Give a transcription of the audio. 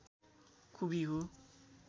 खुबी हो